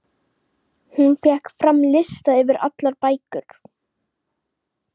Hún fékk fram lista yfir allar bækur